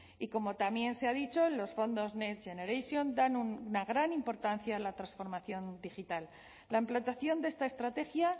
y como también se ha dicho los fondos next generation dan una gran importancia en la transformación digital la implantación de esta estrategia